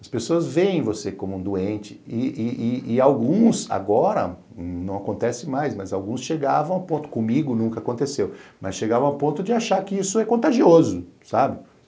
As pessoas veem você como um doente e e e alguns, agora, não acontece mais, mas alguns chegavam ao ponto, comigo nunca aconteceu, mas chegavam ao ponto de achar que isso é contagioso, sabe?